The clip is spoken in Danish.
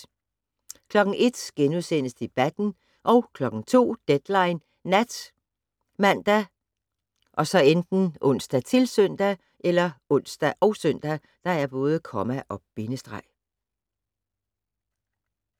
01:00: Debatten * 02:00: Deadline Nat ( man, ons, -søn)